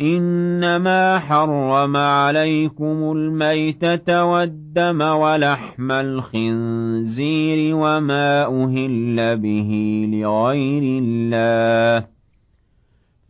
إِنَّمَا حَرَّمَ عَلَيْكُمُ الْمَيْتَةَ وَالدَّمَ وَلَحْمَ الْخِنزِيرِ وَمَا أُهِلَّ بِهِ لِغَيْرِ اللَّهِ ۖ